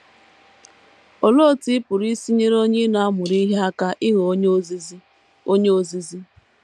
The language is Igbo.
Olee otú ị pụrụ isi nyere onye ị na - amụrụ ihe aka ịghọ onye ozizi? onye ozizi?